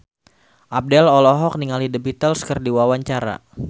Abdel olohok ningali The Beatles keur diwawancara